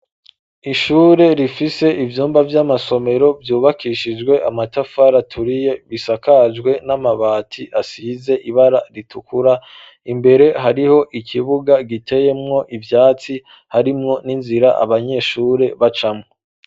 ishure rifise ivyumba vy'amasomero vyubakishijwe amatafara aturiye bisakajwe n'amabati asize ibara ritukura imbere hariho ikibuga giteyemwo ivyatsi harimwo n'inzira abanyeshure bacamo